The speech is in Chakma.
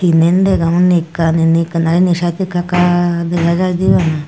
diyen degong undi ekkan indi ekkan aa ini saidot ekka ekka dega jaidey bana.